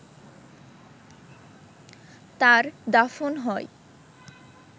তার দাফন হয়